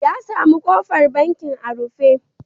Ya sami ƙofar bankin a rufe.